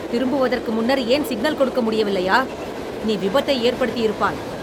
திரும்புவதற்கு முன்னர் ஏன் சிக்னல் கொடுக்க முடியவில்லையா, நீ விபத்தை ஏற்படுத்தியிருப்பாய்!